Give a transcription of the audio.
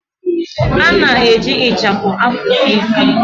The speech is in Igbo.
A na-eji ịchafụ afusi isi.